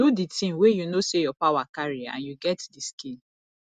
do di thing wey you know sey your power carry and you get di skill